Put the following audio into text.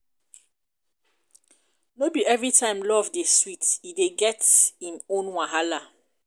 no be everytime love dey sweet e dey get im own wahala.